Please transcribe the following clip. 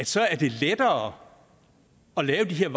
så er lettere at lave de her